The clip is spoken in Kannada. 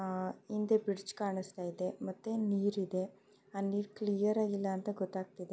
ಹಿಂದೆ ಬ್ರಿಡ್ಜ್ ಕಾಣಿಸ್ತಾ ಇದೆ ಮತ್ತೆ ನೀರಿದೆ